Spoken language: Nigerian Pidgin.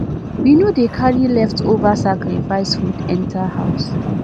we no dey carry leftover sacrifice food enter house